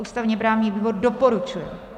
Ústavně-právní výbor doporučuje.